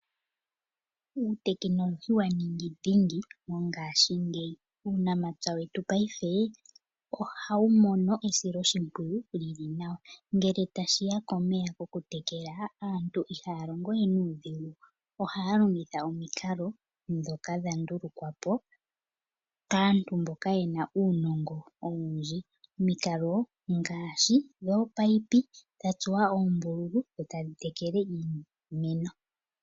Uutekinolohi wa ningi dhingi mongashingeyi. Uunamapya wetu paife ohawu mono esiloshimpwiyu li li nawa. Ngele tashi ya pomeya pokutekela, aantu ihaya longo we nuudhigu, ohaya longitha omikalo ndhoka dha ndulukwa po kaantu mboka ye na uunongo owundji, omikalo ngaashi dhoopaipi dha tsuwa ombululu e ta dhi tekele iimeno.